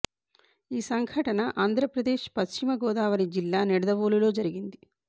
ఈ సంఘటన ఆంధ్రప్రదేశ్ పశ్చిమ గోదావరి జిల్లా నిడద వోలులో జరిగింది